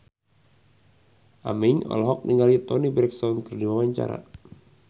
Aming olohok ningali Toni Brexton keur diwawancara